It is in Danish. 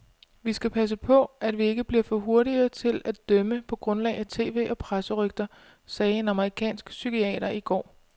Vi skal passe på, at vi ikke bliver for hurtige til at dømme på grundlag af tv og presserygter, sagde en amerikansk psykiater i går.